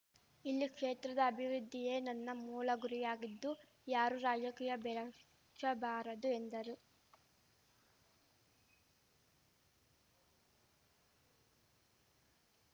ಇಲ್ಲಿ ಕ್ಷೇತ್ರದ ಅಭಿವೃದ್ಧಿಯೇ ನನ್ನ ಮೂಲ ಗುರಿಯಾಗಿದ್ದು ಯಾರೂ ರಾಜಕೀಯ ಬೆರಶಬಾರದು ಎಂದರು